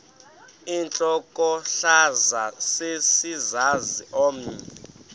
intlokohlaza sesisaz omny